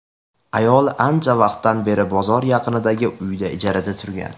Ayol ancha vaqtdan beri bozor yaqinidagi uyda ijarada turgan.